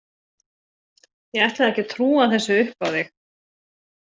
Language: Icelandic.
Ég ætlaði ekki að trúa þessu upp á þig.